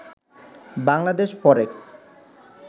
Bangladesh ফরেক্স